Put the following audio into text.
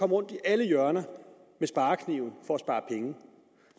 rundt i alle hjørner med sparekniven for